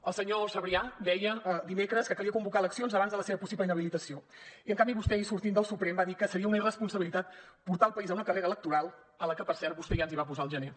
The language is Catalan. el senyor sabrià deia dimecres que calia convocar eleccions abans de la seva possible inhabilitació i en canvi vostè ahir sortint del suprem va dir que seria una irresponsabilitat portar el país a una carrera electoral en la que per cert vostè ja ens hi va posar al gener